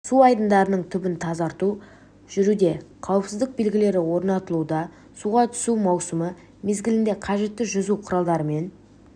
су айдындарының түбін тазарту жүруде қауіпсіздік белгілері орнатылуда суға түсу маусымы мезгілінде қажетті жүзу құралдарымен